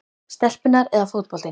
stelpurnar eða fótboltinn?